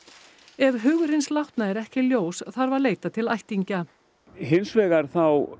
ef hugur hins látna er ekki ljós þarf að leita til ættingja hins vegar þá